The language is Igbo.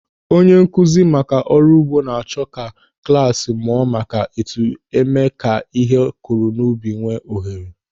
Onye nkụzi maka ọrụ ugbo na-achọ ka klas mụọ maka otu eme ka ihe a kụrụ n'ubi nwee ohere.